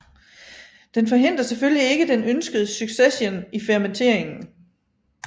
Den forhindrer selvfølgelig ikke den ønskede succession i fermenteringen